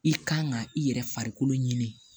I kan ka i yɛrɛ farikolo ɲini